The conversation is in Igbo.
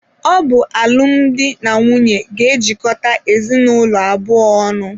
Ọ bụ alụmdi na nwunye ga-ejikọta ezinụlọ abụọ ọnụ.